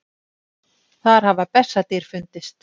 Þar hafa bessadýr fundist.